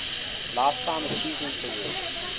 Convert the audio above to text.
lifetime achievement award